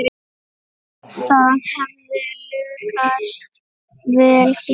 Það hefði lukkast vel hér.